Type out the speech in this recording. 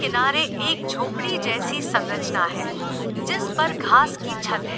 किनारे एक झोपड़ी जैसी संरचना है जिस पर घास की छत है।